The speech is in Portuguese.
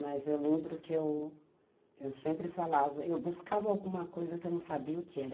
Mas eu lembro que eu sempre falava, eu buscava alguma coisa que eu não sabia o que era.